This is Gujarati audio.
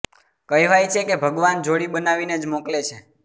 કહેવાય છે કે ભગવાન જોડી બનાવીને જ મોકલે છે